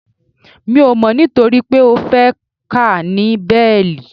Mi ò mọ̀ nitoripe o fe ka ni béélì